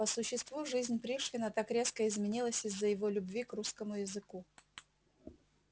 по существу жизнь пришвина так резко изменилась из-за его любви к русскому языку